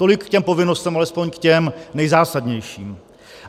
Tolik k těm povinnostem, alespoň k těm nejzásadnějším.